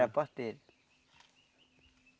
Era a parteira.